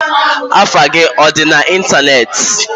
Afa gi adi na Ịntanetị?